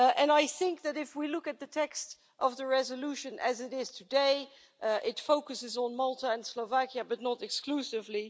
I think that if we look at the text of the resolution as it is today, it focuses on Malta and Slovakia, but not exclusively.